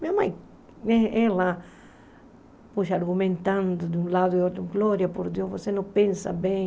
Minha mãe, eh ela argumentando de um lado e do outro, Glória, por Deus, você não pensa bem.